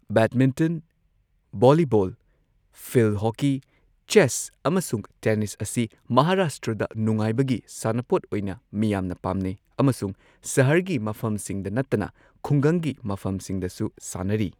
Badminton, volleyball, field hockey, chess, ꯑꯃꯁꯨꯡ tennis ꯑꯁꯤ ꯃꯍꯥꯔꯥꯁꯇ꯭ꯔꯗ ꯅꯨꯡꯉꯥꯏꯕꯒꯤ ꯁꯥꯟꯅꯄꯣꯠ ꯑꯣꯏꯅ ꯃꯤꯌꯥꯝꯅ ꯄꯥꯝꯅꯩ, ꯑꯃꯁꯨꯡ ꯁꯍꯔꯒꯤ ꯃꯐꯝꯁꯤꯡꯗ ꯅꯠꯇꯅ ꯈꯨꯡꯒꯪꯒꯤ ꯃꯐꯝꯁꯤꯡꯗꯁꯨ ꯁꯥꯟꯅꯔꯤ꯫